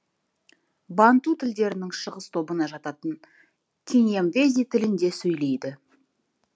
банту тілдерінің шығыс тобына жататын киньямвези тілінде сөйлейді